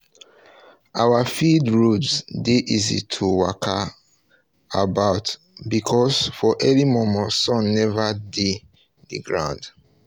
our field roads dey easy to waka about because for early momo sun never dey the ground